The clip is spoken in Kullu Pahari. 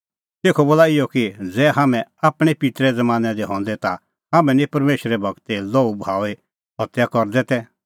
तेखअ बोला इहअ कि ज़ै हाम्हैं आपणैं पित्तरे ज़मानैं दी हंदै ता हाम्हां निं परमेशरे गूरे लोहू बहाऊई हत्या करदै तै